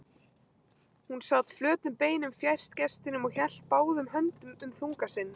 Hún sat flötum beinum fjærst gestinum og hélt báðum höndum um þunga sinn.